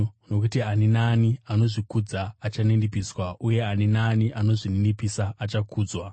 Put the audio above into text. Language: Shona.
Nokuti ani naani anozvikudza achaninipiswa uye ani naani anozvininipisa achakudzwa.